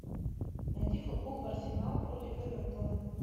найди футбол арсенал против эвертона